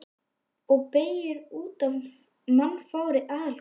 Og beygir út af mannfárri aðalgötunni.